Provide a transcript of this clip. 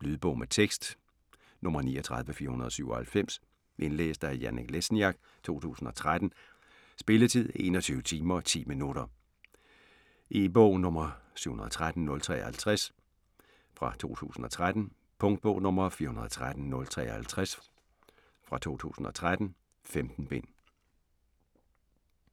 Lydbog med tekst 39497 Indlæst af Janek Lesniak, 2013. Spilletid: 21 timer, 10 minutter. E-bog 713053 2013. Punktbog 413053 2013. 15 bind.